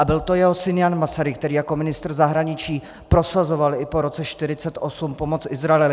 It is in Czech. A byl to jeho syn Jan Masaryk, který jako ministr zahraničí prosazoval i po roce 1948 pomoc Izraeli.